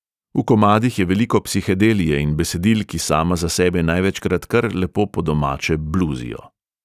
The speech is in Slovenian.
V komadih je veliko psihedelije in besedil, ki sama za sebe največkrat kar lepo po domače bluzijo.